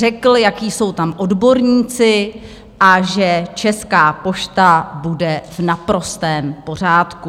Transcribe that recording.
Řekl, jací jsou tam odborníci a že Česká pošta bude v naprostém pořádku.